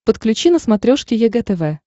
подключи на смотрешке егэ тв